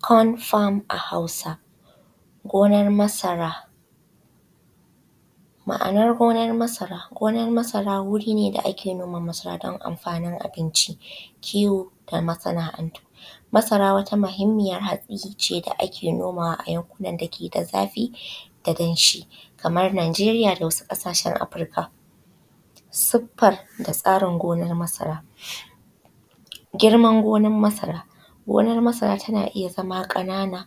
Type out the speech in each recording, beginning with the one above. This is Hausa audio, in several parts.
Kon fam a hausance gonar masara. Ma’anar gonar masara wurine da ake noma masara dan amfanin abnici, kiwo da masana’antu. Masara wata mahimiyyan hatsice da ake nomawa a yankunan da keda zafi da danshi kamar nageriya da wasu ƙasashen afirika. Siffa da tsarin gonar masara. Girman gonar masara tana iyya ƙanana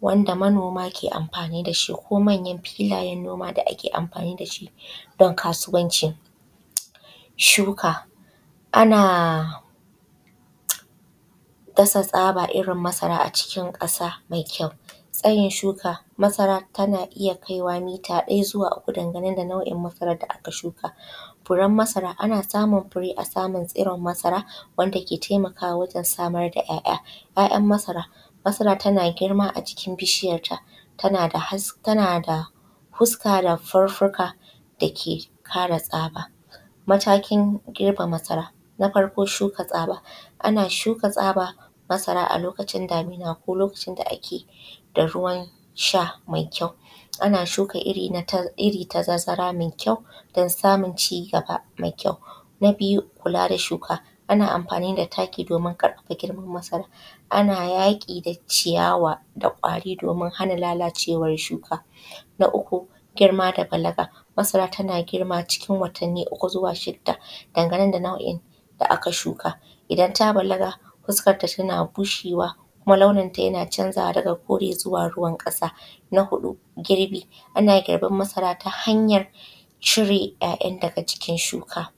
wanda manoma ke amfani dashi ko manyan filayen noma da ake amfani dashi dan kasuwanci. Shuka ana dasa tsaba irrin masara a cikin ƙasa mai kyau. Tsayin shuka masara tana iyya kaiwa mita biyu zuwa uku dan gane da tsarin irrin masaran da aka shuka. Furen masara ana samun fure a tsarin saman masara wanda ke taimakama wagen samar da ‘ya’’ya’. ‘ya’’yan’ masara masara tana girma ajikin bishiyar ta tanada huska da huhhuka dake kare tsaba. Matakin girbe masara na farko shuka tsaba ana shuka tsaba a lokacin damina ko lokacin da ake da ruwan sha mai kyau ana shuka irri da tazara mai kyau dan samun cigana mai kyau. Na niyu luka da masara ana amfani da taki domin ƙarfafa girman masara ana da ciyayi da kwari domin hana lalacewan masara. Na uku girma da balaga masara tana girma cikin wattanni uku zuwa shidda dan gane da nau’in da aka shuka idan ta balaga huskanta yana bushewa kuma launinta yana canzawa daga kore zuwa ruwan ƙasa. Na huɗu girbi anayin girbin masara ta hanyan cire ‘ya’’yan’’ daga jikin shuka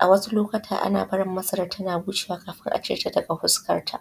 a wasu lokuta ana barin masaran tana bushewa kafin acireta daga huskanta.